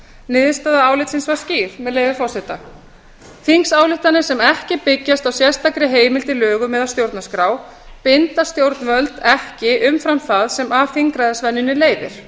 niðurstaða álitsins var skýr með leyfi forseta um að þingsályktanir sem ekki byggjast á sérstakri heimild í lögum eða stjórnarskrá bindi stjórnvöld ekki umfram það sem af þingræðisvenjunni leiðir